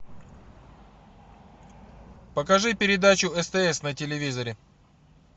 покажи передачу стс на телевизоре